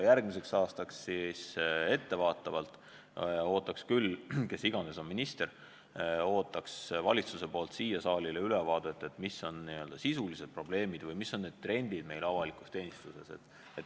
Ja ma ettevaatavalt ootan järgmisel aastal, kes iganes siis minister ka pole, valitsuselt saalile antavat ülevaadet selle kohta, mis on sisulised probleemid ja millised on trendid avalikus teenistuses.